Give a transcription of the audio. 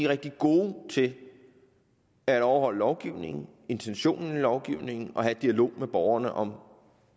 rigtig gode til at overholde lovgivningen intentionen i lovgivningen og til at have dialog med borgerne om